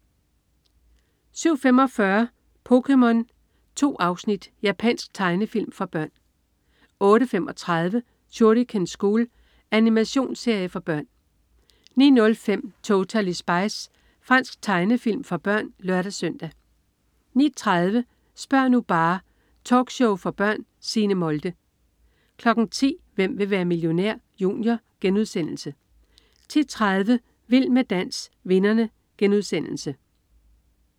07.45 POKéMON. 2 afsnit. Japansk tegnefilm for børn 08.35 Shuriken School. Animationsserie for børn 09.05 Totally Spies. Fransk tegnefilm for børn (lør-søn) 09.30 Spør' nu bare! Talkshow for børn. Signe Molde 10.00 Hvem vil være millionær? Junior* 10.30 Vild med dans, vinderne*